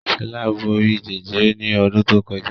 Shola bóri Jẹjẹrẹ ní odún to kojá